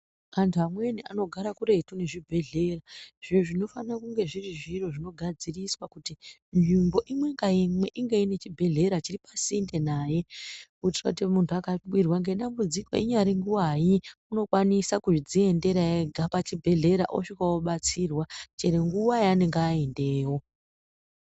Antu amweni anogara kuretu nezvibhedhleya izvo zvinofana kunge zviri zviro zvinogadziriswa kuti nzvimbo imwe ngaimwe inge ine chibhedhleya chiri pasinde naye kuitira kuti muntu angawirwa ngedambudziko ingari nguvai unokwanisa kudziendera ega pachibhedhlera osvika obatsirwa chero nguva yaanenge aendeyo.